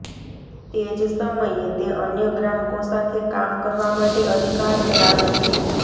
તે જ સમયે તે અન્ય ગ્રાહકો સાથે કામ કરવા માટે અધિકાર ધરાવે છે